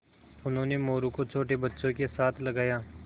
उन्होंने मोरू को छोटे बच्चों के साथ लगाया